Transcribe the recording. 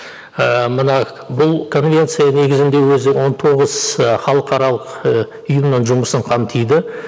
ыыы мына бұл конвенция негізінде өзі он тоғыз і халықаралық і ұйымның жұмысын қамтиды